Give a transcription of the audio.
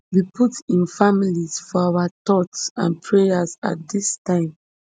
we put im family for our thoughts and prayers at dis time